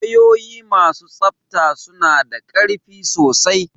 Wayoyi masu tsabta suna da ƙarfi sosai.